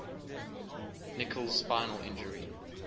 nicholls spinal injury